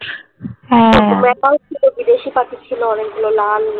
macao ছিল বিদেশী পাখি ছিল অনেক গুলো লাল